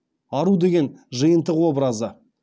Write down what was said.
ару деген жиынтық образы